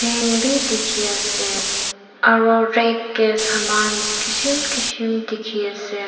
fan bi dikhiase aro rag kae saman kishim kishim dikhiase.